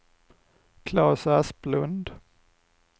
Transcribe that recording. Claes Asplund